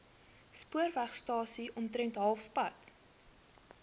spoorwegstasie omtrent halfpad